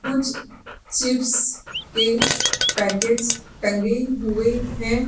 कुछ चिप्स के पैकेट्स टंगे हुए हैं।